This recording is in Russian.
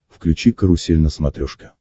включи карусель на смотрешке